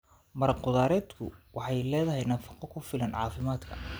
Maraq khudradeedku waxay leedahay nafaqo ku filan caafimaadka.